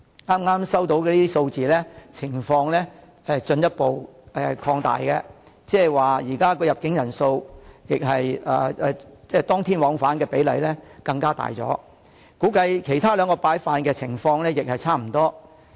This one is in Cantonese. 剛才收到的一些數字顯示情況進一步擴大，現時入境人數、當天往返的比例更大，估計其他兩板塊的情況亦差不多。